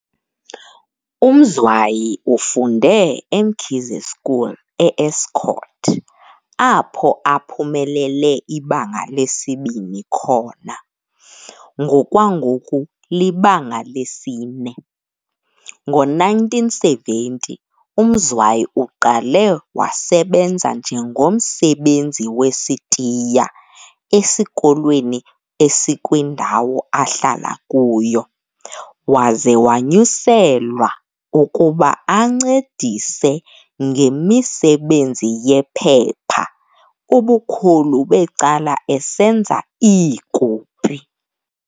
UMzwayi ufunde eMkhize School e-Estcourt, apho aphumelele ibanga lesi-2 khona, ngokwangoku libanga lesi-4. Ngo-1970 uMzwayi uqale wasebenza njengomsebenzi wesitiya esikolweni esikwindawo ahlala kuyo, waze wanyuselwa ukuba ancedise ngemisebenzi yephepha, ubukhulu becala esenza iikopi.